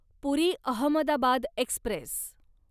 पुरी Ahmedabad Express